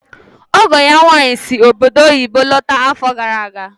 Ọgọ ya nwaanyị si obodo oyibo lọta afọ gara aga.